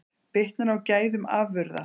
Bitnar á gæðum afurða